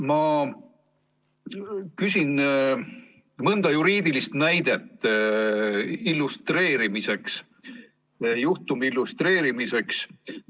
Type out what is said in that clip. Ma küsin mõnda juriidilist näidet juhtumi illustreerimiseks.